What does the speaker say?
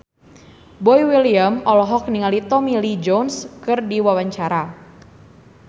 Boy William olohok ningali Tommy Lee Jones keur diwawancara